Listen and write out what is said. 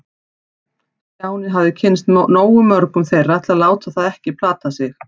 Stjáni hafði kynnst nógu mörgum þeirra til að láta það ekki plata sig.